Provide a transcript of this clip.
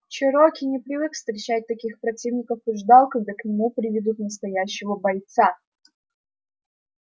чероки не привык встречать таких противников и ждал когда к нему приведут настоящего бойца